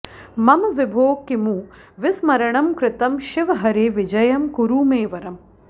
मम विभो किमु विस्मरणं कृतं शिव हरे विजयं कुरु मे वरम्